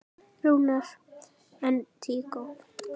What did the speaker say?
Rúnar: En tíkó?